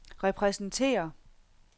repræsenterer